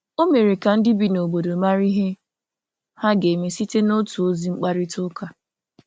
Ọ mere ka ndị bi n’obodo marà ihe ha ga-eme site n’otu ozi mkparịta ụka.